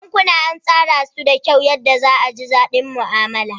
Bankuna an tsara su da kyau yadda za a ji daɗi mu'amala.